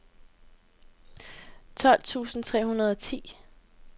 tolv tusind tre hundrede og ti